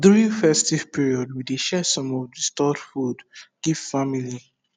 during festive period we dey share some of the stored food give family